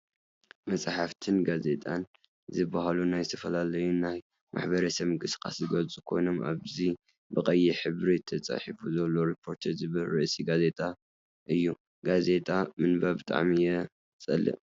መፅሓፍትን ጋዜጣን ዝበሃሉ ናይ ዝተፈላለዩ ናይ ማሕበረሰብ ምቅስቃስ ዝገልፅ ኮይኑ፤ ኣብዚ ብቀይሕ ሕብሪ ተፃሒፉ ዘሎ ሪፖርተር ዝብል ርእሲ ጋዜጣ እዩ። ጋዜጣ ምንባብ ብጣዕሚ እየ ዝፀልእ።